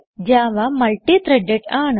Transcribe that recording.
Java multi - threaded ആണ്